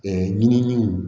ɲininiw